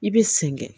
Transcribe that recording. I bɛ sen kɛ